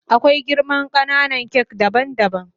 Akwai girman kananan kak daban daban.